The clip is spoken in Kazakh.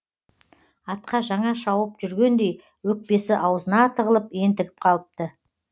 атқа жаңа шауып жүргендей өкпесі аузына тығылып ентігіп қалыпты